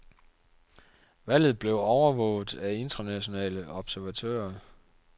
Valget blev overvåget af internationale observatører.